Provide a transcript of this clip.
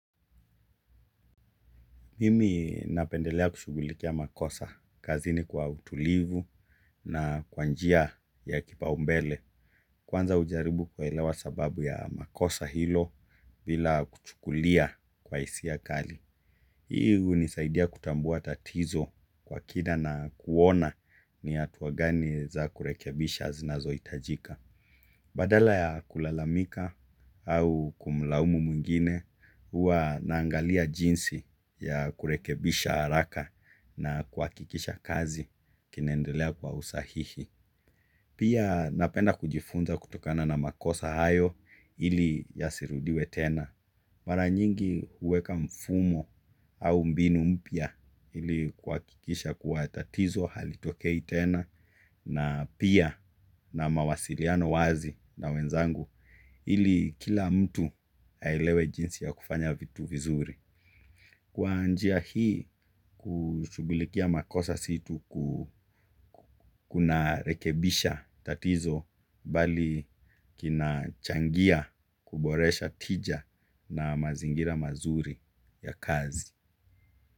Mimi napendelea kushughulikia makosa kazini kwa utulivu na kwa njia ya kipaombele. Kwanza hujaribu kuelewa sababu ya makosa hilo bila kuchukulia kwa hisia kali. Hii hunisaidia kutambua tatizo kwa kina na kuona ni hatua gani za kurekebisha zinazohitajika. Badala ya kulalamika au kumlaumu mwingine, huwa naangalia jinsi ya kurekebisha haraka na kuhakikisha kazi kinaendelea kwa usahihi. Pia napenda kujifunza kutokana na makosa hayo ili yasirudiwe tena. Mara nyingi huweka mfumo au mbinu mpya ili kuhakikisha kuwa tatizo halitokei tena na pia na mawasiliano wazi na wenzangu ili kila mtu aelewe jinsi ya kufanya vitu vizuri. Kwa njia kushughulikia makosa si tu kunarekebisha tatizo bali kinachangia kuboresha tija na mazingira mazuri ya kazi.